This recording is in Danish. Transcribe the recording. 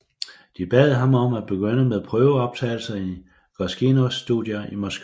De bad ham om at begynde med prøveoptagelse i Goskinos studier i Moskva